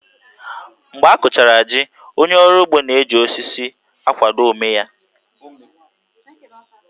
Mgbe a kụchara jí, onye ọrụ ugbo na-eji osisi akwado ómé ya